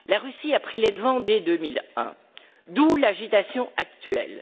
La Russie a pris les devants dès 2001, d'où l'agitation actuelle.